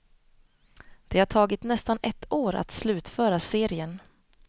Det har tagit nästan ett år att slutföra serien.